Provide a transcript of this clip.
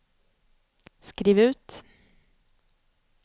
skriv ut